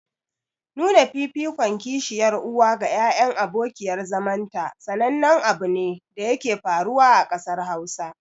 Nuna fifikon kishiyar uwa ga ƴaƴan abokiyar zamanta sanannen abune da yake faruwa a ƙasar Hausa.